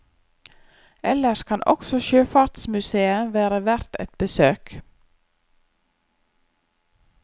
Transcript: Ellers kan også sjøfartsmusèet være verdt et besøk.